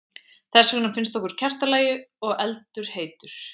Þess vegna finnst okkur kertalogi og eldur heitur.